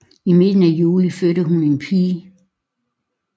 I midten af juli fødte hun en pige